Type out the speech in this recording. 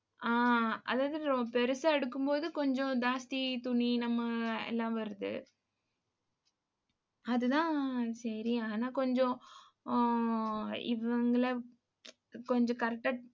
ஆஹ் அதாவது ரொ~ பெருசா எடுக்கும்போது கொஞ்சம் ஜாஸ்தி துணி நம்ம எல்லாம் வருது. அதுதான், சரி ஆனா கொஞ்சம் ஆஹ் இவங்கள கொஞ்சம் correct ஆ